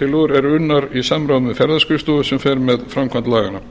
tillögur eru unnar í samráði við ferðaskrifstofu sem fer með framkvæmd laganna